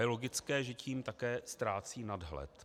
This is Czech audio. Je logické, že tím také ztrácí nadhled.